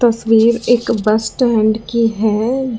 तस्वीर एक bus stand की है।